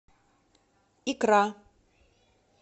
икра